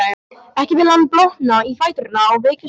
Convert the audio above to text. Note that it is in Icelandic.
Ekki vill hann blotna í fæturna og veikjast aftur.